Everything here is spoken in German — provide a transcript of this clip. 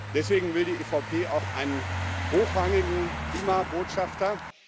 Deswegen will die EVP auch einen hochrangigen Klimabotschafter.